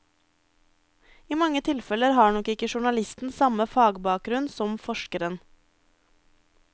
I mange tilfeller har nok ikke journalisten samme fagbakgrunn som forskeren.